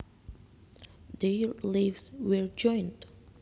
Their lives were joined